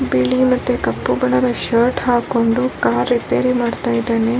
ಬಿಳಿ ಮತ್ತು ಕಪ್ಪು ಬಣದ ಶರ್ಟ್ ಹಾಕೊಂಡು ಕಾರ್ ರಿಪೇರಿ ಮಾಡ್ತಾ ಇದಾನೆ.